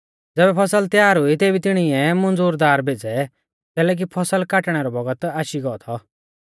ज़ैबै फसल त्यार हुई तेभी तिणिऐ मुंज़ुरदार भेज़ै कैलैकि फसल काटणै रौ बौगत आशी गौ थौ